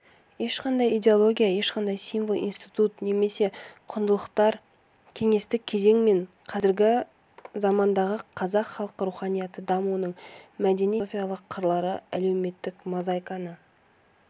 ешқандай идеология ешқандай символ институт немесе құндылықтар кеңестік кезең мен қазіргі замандағы қазақ халқы руханияты дамуының мәдени-философиялық қырлары әлеуметтік мозаиканы